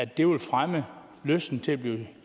det vil fremme lysten til at blive